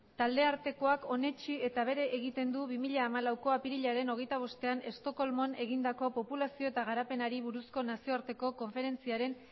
talde artekoak onetsi eta bere egiten du bi mila hamalaueko apirilaren hogeita bostean estocolmon egindako populazio eta garapenari buruzko nazioarteko konferentziaren